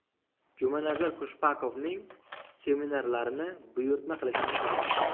Jumanazar Khushbakovning seminarlarini buyurtma qilishingiz mumkin!